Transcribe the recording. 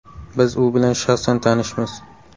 Biz u bilan shaxsan tanishmiz.